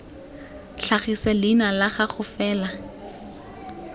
tlhagise leina la gago fela